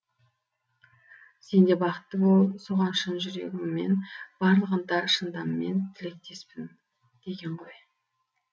сен де бақытты бол соған шын жүрегіммен барлық ынта шынтаммен тілектеспін деген ғой